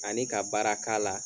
Ani ka baara k'a la.